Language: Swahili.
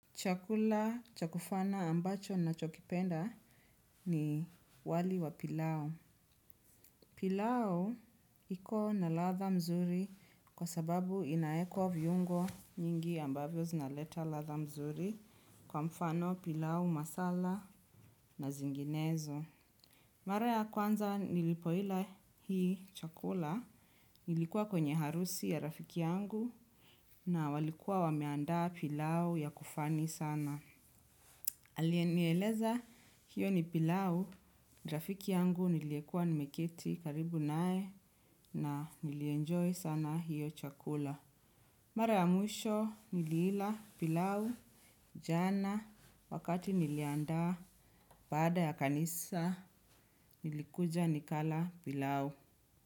Chakula cha kufana ambacho nachokipenda ni wali wa pilau. Pila iko na ladha mzuri kwa sababu inaekwa viungo nyingi ambavyo zinaleta ladha mzuri kwa mfano pilau masala na zinginezo. Mara ya kwanza nilipoila hii chakula nilikuwa kwenye harusi ya rafiki yangu na walikuwa wameandaa pilau ya kufani sana. Aliyenieleza hiyo ni pilau, rafiki yangu niliyekua nimeketi karibu nae na nilienjoy sana hiyo chakula. Mara ya mwisho niliila pilau, jana, wakati niliandaa baada ya kanisa, nilikuja nikala pilau.